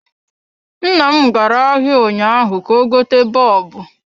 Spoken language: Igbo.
Nnam gara ahịa ụnyaahụ ka ọ gote bọlbụ